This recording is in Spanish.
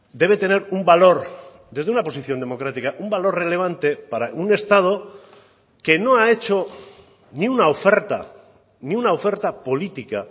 debe tener un valor desde una posición democrática un valor relevante para un estado que no ha hecho ni una oferta ni una oferta política